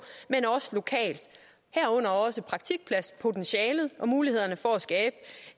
men også lokalt herunder også praktikpladspotentialet og mulighederne for